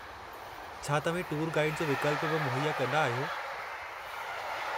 छा तव्हीं tour guide जो विक्ल्प बि मुहैया कंदा आहियो?